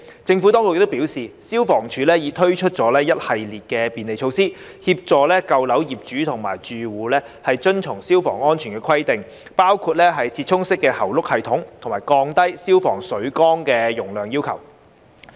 政府當局表示，消防處已推出一系列便利措施，協助舊樓業主及住戶遵從消防安全規定，包括"折衷式喉轆系統"和降低消防水缸容量要求。